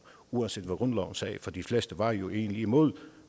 uanset hvad grundloven sagde for de fleste var jo egentlig imod